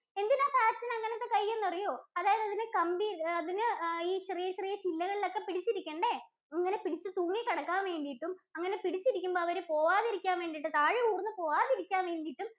എന്തിനാ Parrot ഇന് അങ്ങനത്തെ കൈ എന്നറിയോ? അതായത് അതിന് കമ്പി അതിന് ഈ ചെറിയ ചെറിയ ചെറിയ ചില്ലകളിലൊക്കെ പിടിച്ചിരിക്കണ്ടേ. അങ്ങനെ പിടിച്ച് തൂങ്ങി കിടക്കാൻ വേണ്ടീട്ടും, അങ്ങനെ പിടിച്ചിരിക്കുമ്പോൾ അവര് പോവാതിരിക്കാൻ വേണ്ടീട്ടും, താഴെ ഊർന്ന് പോവാതിരിക്കാൻ വേണ്ടീട്ടും